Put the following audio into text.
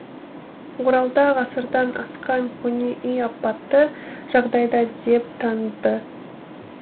оралда ғасырдан асқан көне үй апатты жағдайда деп танылды